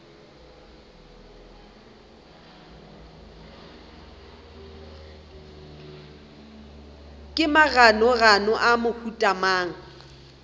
ke maganogano a mohuta mang